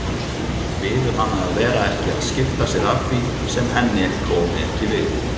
Biður hana að vera ekki að skipta sér af því sem henni komi ekki við.